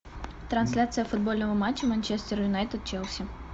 трансляция футбольного матча манчестер юнайтед челси